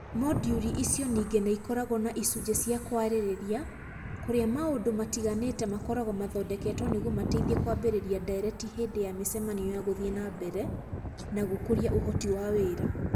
Mooduri icio ningĩ nĩ ikoragwo na icunjĩ cia kwarĩrĩria kũrĩa maũndũ matiganĩte makoragwo mathondeketwo nĩguo mateithie kwambĩrĩria ndeereti hĩndĩ ya mĩcemanio ya Gũthiĩ na mbere na gũkũria ũhoti wa wĩra.